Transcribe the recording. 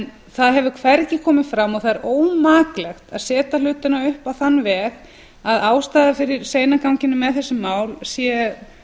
það hefur hvergi komið fram og það er ómaklegt að setja hlutina upp á þann veg að ástæða fyrir seinaganginum með þessi mál sé